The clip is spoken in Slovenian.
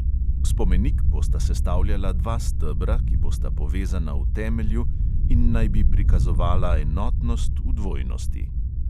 Spomenik bosta sestavljala dva stebra, ki bosta povezana v temelju in naj bi prikazovala enotnost v dvojnosti.